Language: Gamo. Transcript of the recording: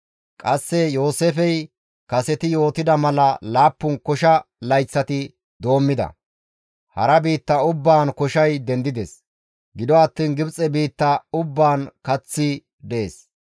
Qasse Yooseefey kaseti yootida mala laappun kosha layththati doommida. Hara biitta ubbaan koshay dendides; gido attiin Gibxe biitta ubbaan kaththi dees.